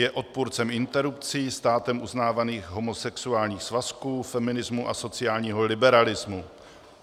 Je odpůrcem interrupcí, státem uznávaných homosexuálních svazků, feminismu a sociálního liberalismu.